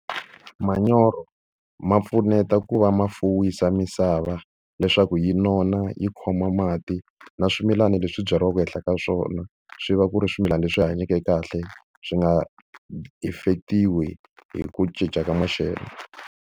Manyoro ma pfuneta ku va ma fuwisa misava leswaku yi nona yi khoma mati na swimilana leswi byariwaka ehenhla ka swona, swi va ku ri swimilana leswi hanyake kahle swi nga affect-iwi hi ku cinca ka maxelo.